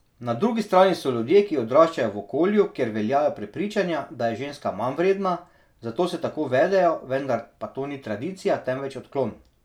Na drugi strani so ljudje, ki odraščajo v okolju, kjer veljajo prepričanja, da je ženska manjvredna, zato se tako vedejo, vendar pa to ni tradicija, temveč odklon.